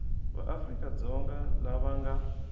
va afrika dzonga lava nga